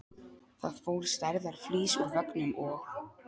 Það fór stærðar flís úr veggnum og